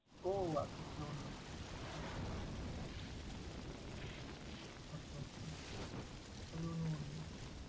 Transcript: ও আচ্ছা! তাহলে অন্য। আচ্ছা তাইলে অন্য মানুষ।